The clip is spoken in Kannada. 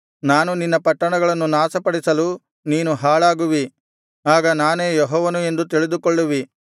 ನಾನು ನಿನ್ನ ಪಟ್ಟಣಗಳನ್ನು ನಾಶಪಡಿಸಲು ನೀನು ಹಾಳಾಗುವಿ ಆಗ ನಾನೇ ಯೆಹೋವನು ಎಂದು ತಿಳಿದುಕೊಳ್ಳುವಿ